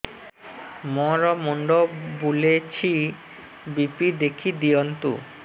ମୋର ମୁଣ୍ଡ ବୁଲେଛି ବି.ପି ଦେଖି ଦିଅନ୍ତୁ